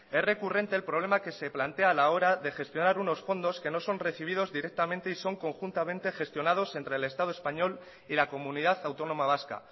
es recurrente el problema que se plantea a la hora de gestionar unos fondos que no son recibidos directamente y son conjuntamente gestionados entre el estado español y la comunidad autónoma vasca